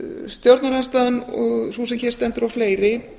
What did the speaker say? stjórnarandstaðan sú sem hér stendur og fleiri